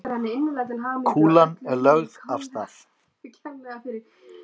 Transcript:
Kúlan er lögð af stað.